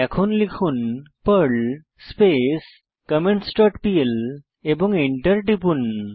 এখন লিখুন perl space comments dot pl এবং এন্টার টিপুন